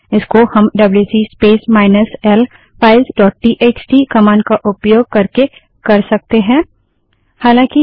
इसको हम डब्ल्यूसी space minus l files dot txt wc space minus l files dot txt command का उपयोग करके कर सकते हैं